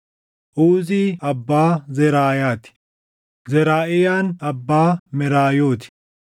Uzii abbaa Zeraayaa ti; Zaraaʼiyaan abbaa Meraayootii ti;